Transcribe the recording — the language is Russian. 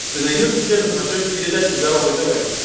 ты найдешь у себя на смотрешке передачу здоровое тв